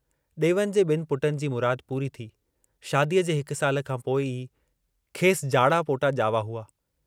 ॾेवन जे ॿिनि पुटनि जी मुराद पूरी थी, शादीअ जे हिक साल खां पोइ ई खेसि जाड़ा पोटा ॼावा हुआ।